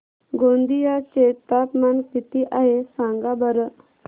गोंदिया चे तापमान किती आहे सांगा बरं